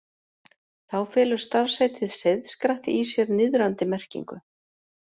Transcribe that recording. Þá felur starfsheitið seiðskratti í sér niðrandi merkingu.